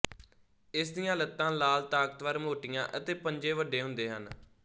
ਇਸ ਦੀਆਂ ਲੱਤਾਂ ਲਾਲ ਤਾਕਤਵਰ ਮੋਟੀਆਂ ਅਤੇ ਪੰਜੇ ਵੱਡੇ ਹੁੰਦੇ ਹਨ